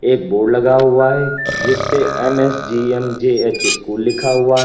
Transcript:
एक बोर्ड लगा हुआ है जिसपे एम_एस_जी_एम_जे_एच स्कूल लिखा हुआ है।